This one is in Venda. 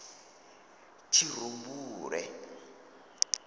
tshirumbule